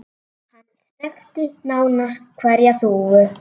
Hann þekkti nánast hverja þúfu.